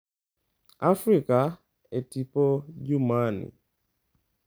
Afrika e Tipo Jumani